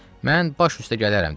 Mən baş üstə gələrəm dedim.